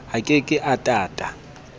a ke ke a tata